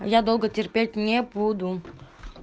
я долго терпеть не буду